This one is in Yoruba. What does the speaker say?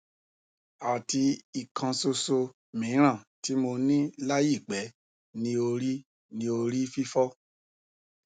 ati ikan soso mi ran ti mo ni layi pe ni ori ni ori fifo